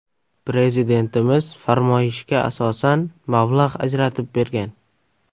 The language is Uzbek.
Prezidentimiz farmoyishga asosan mablag‘ ajratib bergan.